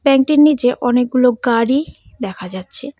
ব্যাংকটির নিচে অনেকগুলো গাড়ি দেখা যাচ্ছে।